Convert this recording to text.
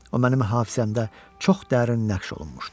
O mənim hafizəmdə çox dərin nəqş olunmuşdu.